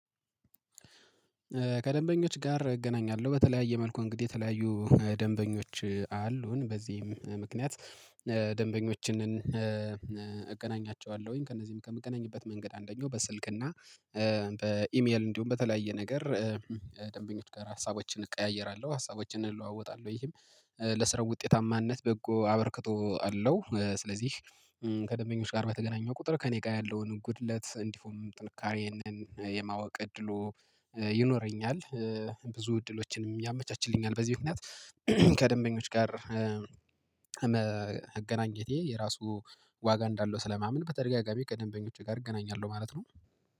ከደንበኞች ጋር እገናኛለሁ። በተለያየ መልኩ እንግዲህ የተለያዩ ደንበኞች አሉን በዚህም ምክንያት ደንበኞችን እገናኛቸዋለሁኝ ከእነዚህም ከምገናኝበት መንገድ አንደኛው በስልክ እና በኢሜል እንዲሁም በተለያየ ነገር ደንበኞች ጋር ሀሳቦችን እቀያየራለሁ፣ ሀሳቦችን እንለዋወጣለን ይህም ለስራው ውጤታማነት በጎ አበርክቶ አለው ስለዚህ ከደንበኞች ጋር በተገናኘሁ ቁጥር ከእኔ ጋር ያለውን ጉድለት እንዲሁም ጥንካሬ ይሄንን የማወቅ እድሉ ይኖረኛል። ብዙ እድሎችንም ያመቻችልኛል በዚህ ምክንያት ከደንበኞች ጋር መገናኘቴ የራሱ ዋጋ እንዳለው ስለማምን በተደጋጋሚ ከደምበኞቼ ጋር እገናኛለሁ ማለት ነው።